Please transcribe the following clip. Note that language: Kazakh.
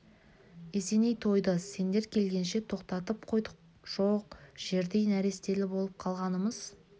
есеней тойды сендер келгенше тоқтатып қойдық жоқ жердей нәрестелі болып қалғанымыз